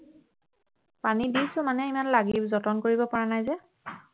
পানী দিছো মানে ইমান লাগি যতন কৰিব পৰা নাই যে